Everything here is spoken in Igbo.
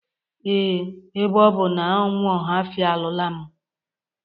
Ee, ebe ọ bụ na nwa Ọhafia alụla mụ